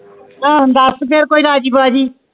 ਤਾ ਦਾਸ ਦੇਯੋ ਰਾਜੀ ਬਾਜੀ